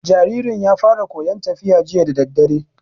Jaririn ya fara koyan tafiya jiya dadadare